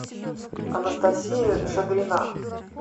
анастасия шадрина